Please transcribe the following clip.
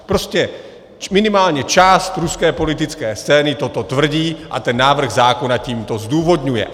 Prostě minimálně část ruské politické scény toto tvrdí a ten návrh zákona tímto zdůvodňuje.